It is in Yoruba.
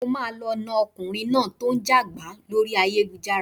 Mo máa lọ na ọkùnrin náà tí ó ń jẹ gàba lórí ayélujára.